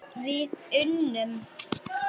Við unnum!